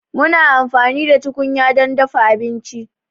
Muna amfani da tukunya don dafa abinci.